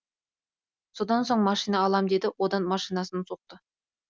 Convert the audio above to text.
содан соң машина алам деді одан машинасын соқты